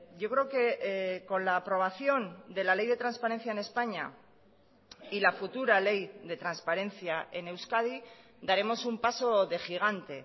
yo creo que con la aprobación de la ley de transparencia en españa y la futura ley de transparencia en euskadi daremos un paso de gigante